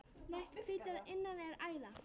Næst hvítu að innan er æða.